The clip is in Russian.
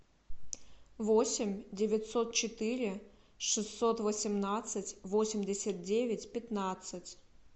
восемь девятьсот четыре шестьсот восемнадцать восемьдесят девять пятнадцать